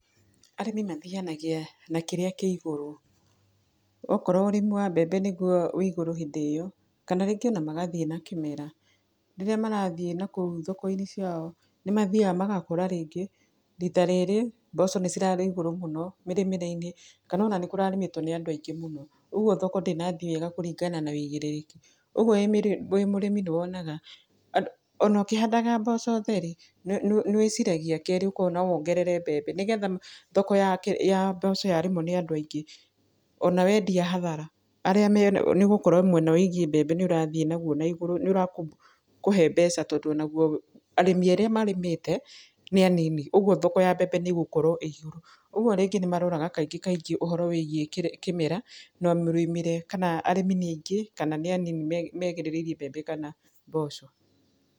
Arĩmi mathianagia na kĩrĩa kĩ igũrũ, okorwo ũrĩmi wa mbembe nĩ guo wĩ igũru hĩndĩ ĩyo, kana rĩngĩ ona magathiĩ na kĩmera. araĩrĩa marathiĩ nakũu thoko-inĩ ciao, nĩ mathiaga magakora rĩngĩ, rita rĩrĩ mboco nĩ cirarĩ ĩgũru mũno mĩrĩmĩre-inĩ kana ona nĩ kũrarĩmĩtwo nĩ andũ aingĩ mũno, ũguo thoko ndĩnathiĩ wega kũringana na wĩigĩrĩrĩki. Ũguo wĩ mũrĩmi nĩ wonaga, ona ũkĩhandaga mboco theri, nĩ wĩciragia kerĩ ũkona wongerere mbembe, nĩ getha thoko ya mboco ya rĩmwo nĩ andũ aingĩ, ona wendia hathara nĩ ũgũkorwo mwena wĩigiĩ mbembe nĩ ũrathiĩ naguo na igũrũ, nĩ ũrakũhe mbeca tondũ o naguo arĩmi arĩa marĩmĩte nĩ anini, ũguo thoko ya mbembe nĩ ĩgũkorwo ũguo rĩngĩ nĩ maroraga kaingĩ kaingĩ ũhoro wĩigiĩ kĩmera, na mĩrĩmĩre kana arĩmi nĩ aingĩ kana nĩ anini megerereirie mbembe kana mboco.